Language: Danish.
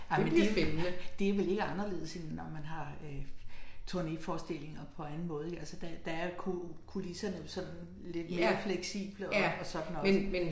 Ej men det det vel ikke anderledes end når man har øh turnéforestillinger på anden måde ik altså der der er kulisserne jo sådan lidt mere fleksible og og så den også